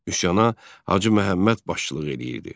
Üsyana Hacı Məhəmməd başçılıq edirdi.